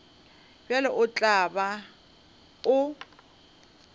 bjalo o tla be o